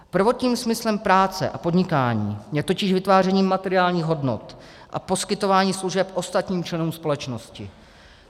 Prvotním smyslem práce a podnikání je totiž vytváření materiálních hodnot a poskytovaní služeb ostatním členům společnosti.